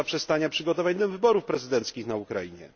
do zaprzestania przygotowywania wyborów prezydenckich na Ukrainie.